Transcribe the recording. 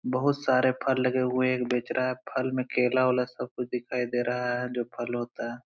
बहुत सारे फल लगे हुए हैं। एक बेच रहा है। फल में केला उला सब कुछ दिखाई दे रहा है जो फल होता है।